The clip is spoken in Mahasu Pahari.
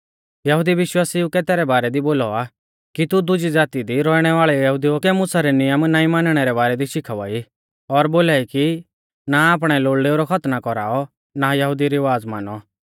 यहुदी विश्वासिउ कै तैरै बारै दी बोलौ आ औन्दौ कि तू दुजी ज़ाती दी रौइणै वाल़ै यहुदिऊ कै मुसा रै नियम नाईं मानणै रै बारै दी शिखावा ई और बोलाई कि ना आपणै लोल़डेऊ रौ खतना कौराऔ और ना यहुदी रिवाज़ मानौ